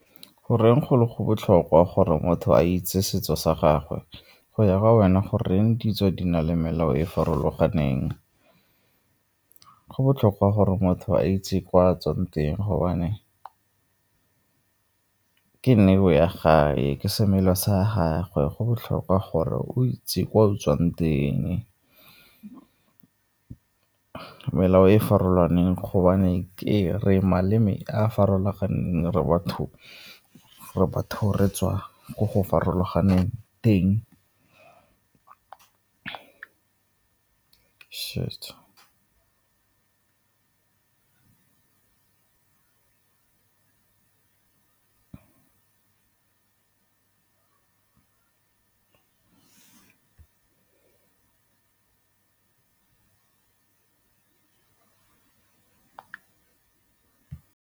Goreng go le go botlhokwa gore motho a itse setso sa gagwe? Go ya ka wena, goreng ditso di na le melao e e farologaneng? Go botlhokwa gore motho a itse kwa o tswang teng gobane ke neo ya gae, ke semela sa gagwe, go botlhokwa gore o itse kwa o tswang teng. Melao e e farologaneng gobane ke re maleme a a farologaneng re batho re tswa ko go farologaneng teng .